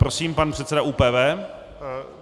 Prosím, pan předseda ÚPV.